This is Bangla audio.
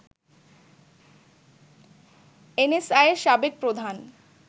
এনএসআই’র সাবেক প্রধান